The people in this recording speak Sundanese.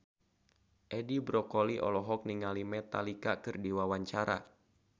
Edi Brokoli olohok ningali Metallica keur diwawancara